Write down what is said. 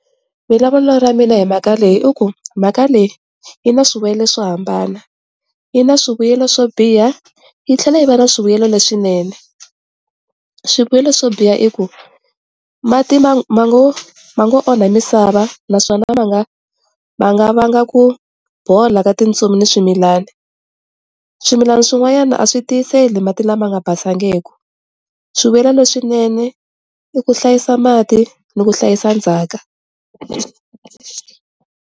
Vulavulo ra mina hi mhaka leyi i ku mhaka leyi yi na swivuyelo swo hambana yi na swivuyelo swo biha yi tlhela yi va na swivuyelo le swinene. Swivuyelo swo biha i ku mati ma nga ma nga onha misava naswona ma nga ma nga va nga ku bola ka tintsumi ni swimilana, swimilana swin'wanyana a swi tiyiseli mati lama nga basangeku. Swivuyelo le swinene i ku hlayisa mati ni ku hlayisa ndzhaka.